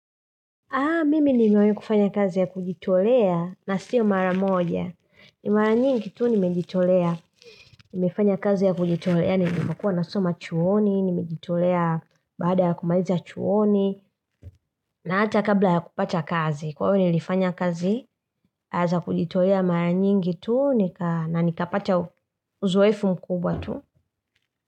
Nimewai kufanya kazi ya kujitolea na siyo mara moja. Nimefanya kazi ya kujitolea na imekuwa nasoma chuoni, nimejitolea baada ya kumaliza chuoni, na hata kabla ya kupata kazi. Kwa hivo nilifanya kazi, za kujitolea mara nyingi tu, na nikapata uzoefu mkubwa tu.